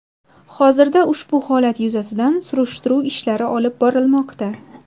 Hozirda ushbu holat yuzasidan surishtiruv ishlari olib borilmoqda.